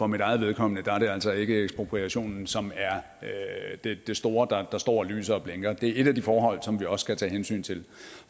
mit eget vedkommende er det altså ikke ekspropriationen som er det store der står og lyser og blinker men at det er et af de forhold som vi også skal tage hensyn til